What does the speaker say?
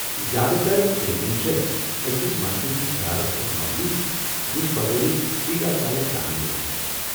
زیادٕ تر پینٹنگہٕ چھ اکس مرکزی خیالس پیٹھ مبنی یُس بطورِ 'ٹری آف لایف' زاننہٕ یوان چھُ ۔